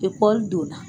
donna